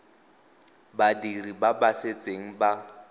badiri ba ba setseng ba